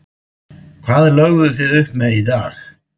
Hvað lögðuð þið upp með í dag?